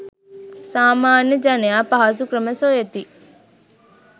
සාමාන්‍ය ජනයා පහසු ක්‍රම සොයති.